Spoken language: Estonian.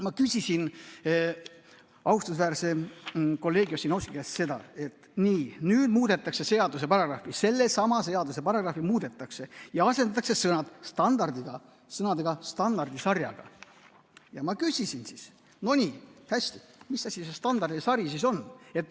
Ma küsisin austusväärse kolleegi Ossinovski käest seda, et nii, nüüd muudetakse seaduse paragrahvi, sellesama seaduse paragrahvi ja asendatakse sõna "standardiga" sõnaga "standardisarjaga", ma küsisin siis, et no nii, hästi, et mis asi see standardisari siis on.